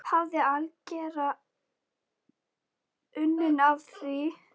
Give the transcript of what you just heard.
Hafði algera unun af því.